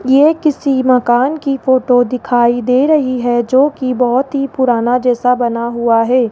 यह किसी मकान की फोटो दिखाई दे रही है जो कि बहोत ही पुराना जैसा बना हुआ है।